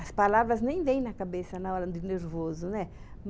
As palavras nem vêm na cabeça na hora do nervoso, né?